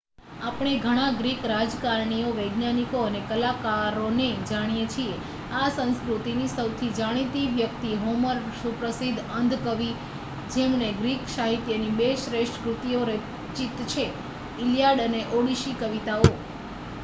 આપણે ઘણા ગ્રીક રાજકારણીઓ વૈજ્ઞાનિકો અને કલાકારોને જાણીએ છીએ. આ સંસ્કૃતિની સૌથી જાણીતી વ્યક્તિ હોમર, સુપ્રસિદ્ધ અંધ કવિ જેમણે ગ્રીક સાહિત્યની બે શ્રેષ્ઠ કૃતિઓ રચિત છે: ઇલિયાડ અને ઓડિસી કવિતાઓ